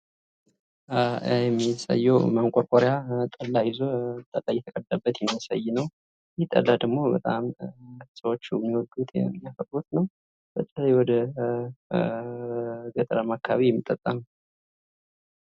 የሚታየው ማንቆርቆሪያ ጠላ ይዞ ጠላ እየተቀዳበት የሚያሳይ ነው። ይህ ጠላ ደግሞ ሰዎቹ በጣም የሚወዱት ነው። በተለይ ወደገጠራማ አካባቢ የሚጠጣ ነው።